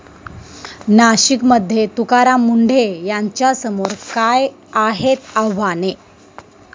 नाशिकमध्ये तुकाराम मुंढे यांच्यासमोर काय आहेत आव्हाने?